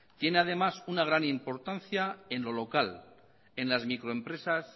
tiene además una gran importancia en lo local en las microempresas